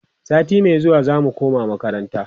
sati Mai zuwa zamu koma makaranta